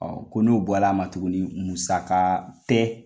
Ɔ ko ni o bɔl' a ma tuguni, musaga tɛ